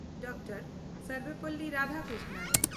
doctor Sarvepalli Radhakrishnan